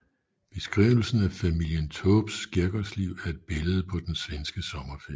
Beskrivelsen af familien Taubes skærgårdsliv er et billede på den svenske sommerferie